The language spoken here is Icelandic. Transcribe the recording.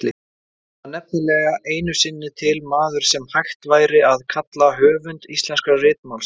Það var nefnilega einu sinni til maður sem hægt væri að kalla höfund íslenska ritmálsins.